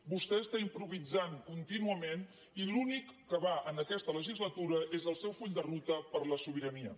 vostè està improvisant contínuament i l’únic que va en aquesta legislatura és el seu full de ruta per la so·birania